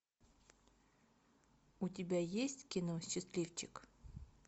у тебя есть кино счастливчик